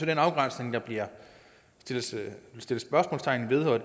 den afgrænsning der bliver sat spørgsmålstegn ved og